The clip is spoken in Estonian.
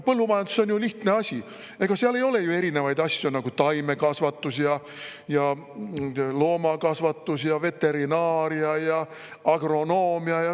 Põllumajandus on ju lihtne asi, ega seal ei ole erinevaid asju, nagu taimekasvatus, loomakasvatus, veterinaaria ja agronoomia.